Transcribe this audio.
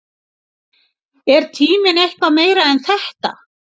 Er tíminn eitthvað meira en þetta?